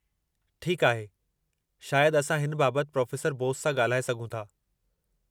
ठीकु आहे, शायदि असां हिन बाबतु प्रोफे़सर बोस सां ॻाल्हाए सघूं था।